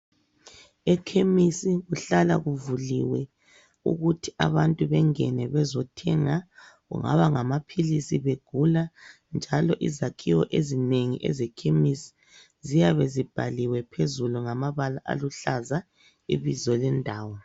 Ekhemisi kuhlala kuvuliwe ukuthi abantu bengene bezothenga kungaba ngamaphilisi begula njalo izakhiwo ezinengi ezekhemisi ziyabe zibhaliwe phezulu ngamabala aluhlaza ibizo lendawo.